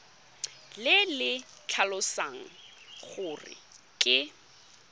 le le tlhalosang gore ke